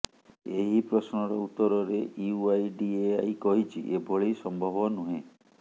ଏହି ପ୍ରଶ୍ନର ଉତ୍ତରରେ ୟୁଆଇଡିଏଆଇ କହିଛି ଏଭଳି ସମ୍ଭବ ନୁହେଁ